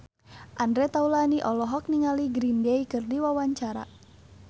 Andre Taulany olohok ningali Green Day keur diwawancara